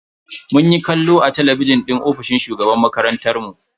Munyi kallo a talabijin din ofishin shugaban makarantar mu.